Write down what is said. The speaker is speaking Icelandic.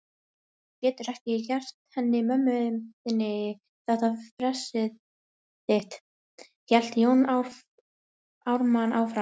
Þú getur ekki gert henni mömmu þinni þetta fressið þitt, hélt Jón Ármann áfram.